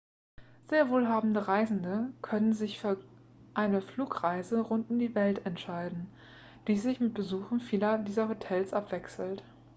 sehr wohlhabende reisende könnten sich für eine flugreise rund um die welt entscheiden die sich mit besuchen vieler dieser hotels abwechselt